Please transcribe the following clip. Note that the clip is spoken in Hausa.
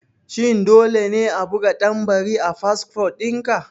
Shin dole ne a buga tambari a fasfo dinka?